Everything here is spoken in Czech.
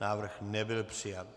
Návrh nebyl přijat.